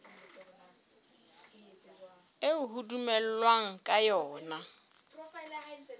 eo ho dumellanweng ka yona